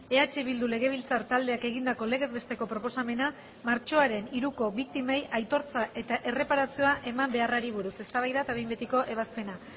eh bildu legebiltzar taldeak egindako legez besteko proposamena martxoaren hiruko biktimei aitortza eta erreparazioa eman beharrari buruz eztabaida eta behin betiko ebazpena